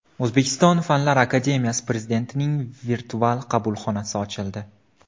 O‘zbekiston Fanlar akademiyasi prezidentining virtual qabulxonasi ochildi.